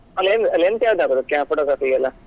Len~ lens ಯಾವ್ದು ಹಾಕುದು photography ಗೆ ಎಲ್ಲಾ?